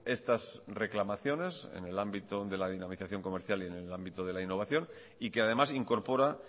estas reclamaciones en el ámbito de la dinamización comercial y en el ámbito de la innovación y que además incorpora